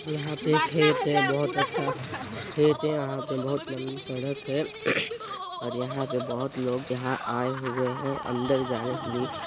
यहाँ पे खेत हैं बहोत अच्छा खेत हैं यहाँ पे बहुत लंबी सड़क हैं और यहाँ पे बहोत लोग यहाँ आए हुए हैं अंदर जाने के लिए--